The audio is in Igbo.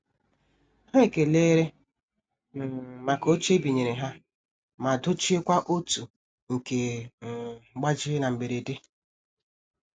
Ha ekelere um maka oche ebinyere ha ma dochie kwa otu nke um gbajiri na mberede.